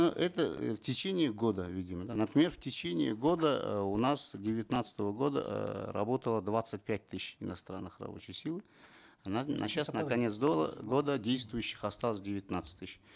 ну это в течение года видимо да например в течение года э у нас девятнадцатого года эээ работало двадцать пять тысяч иностранной рабочей силы сейчас на конец годп действующих осталось девятнадцать тысяч